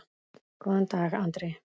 Góðan dag, Andri!